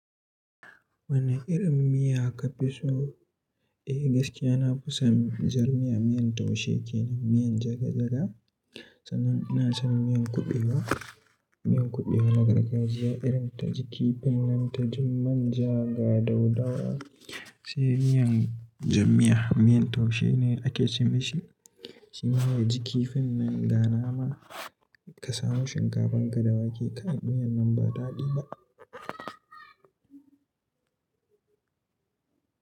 Woni irin miya ka fi so? Eh gaskiya na fi son jar miya, miyan taushe kenan, miyan jaga jaga. San nan ina son miyan kuɓewa, miyan kuɓewa na gargajiya irin ta ji kifin nan ta ji manja ga daudawa. Sai miyan jam miya, miyan taushe ne ake ce mi shi. Shi ma ya ji kifin nan ga nama ka samu shinkafan ka da wake kai miyan nan ba daɗi ba.